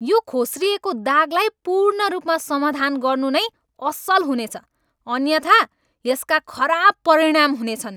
यो खोस्रिएको दागलाई पूर्ण रूपमा समाधान गर्नु नै असल हुनेछ, अन्यथा यसका खराब परिणाम हुनेछन्!